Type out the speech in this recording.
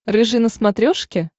рыжий на смотрешке